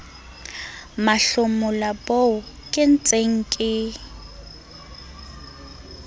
mahlomola boo ke ntseng ke